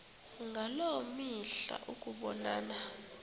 ngaloo mihla ukubonana